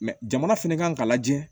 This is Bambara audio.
jamana fɛnɛ kan ka lajɛ